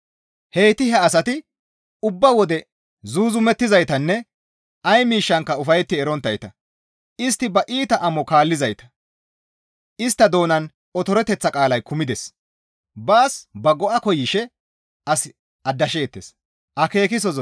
Heyti he asati ubba wode zuuzumettizaytanne ay miishshankka ufayetti eronttayta; istti ba iita amo kaallizayta; istta doonan otoreteththa qaalay kumides; baas ba go7a koyishe as aadasheettes.